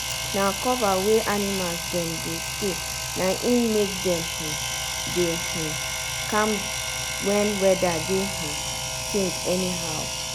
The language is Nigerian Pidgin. na cover wey animals dem dey stay na im make dem um dey um calm when weather dey um change anyhow.